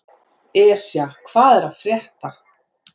Esja, hvað er að frétta?